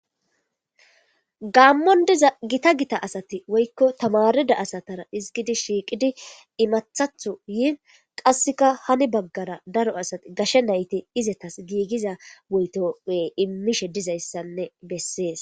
gaammon diza gita gita asati woykko tamarida asatara izgidi shiiqidi imathatho yii qasseka hani baggara daro asati gashe nayti izetas giigiza woytope immishe dizayssanne bessees